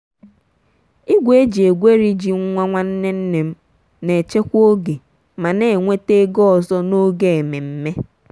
igwe e ji egweri ji nwa nwanne nne m na-echekwa oge ma na-enweta ego ọzọ n'oge ememme.